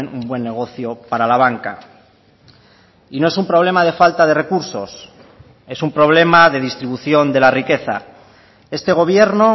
un buen negocio para la banca y no es un problema de falta de recursos es un problema de distribución de la riqueza este gobierno